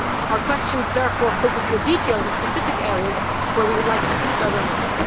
Our questions therefore focus on the details of specific areas where we would like to see further work.